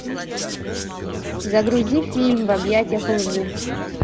загрузи фильм в объятиях лжи